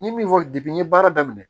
N ye min fɔ n ye baara daminɛ